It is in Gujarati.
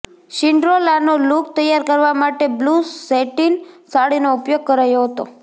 સિન્ડ્રેલાનો લુક તૈયાર કરવા માટે બ્લુ સેટિન સાડીનો ઉપયોગ કરાયો હતો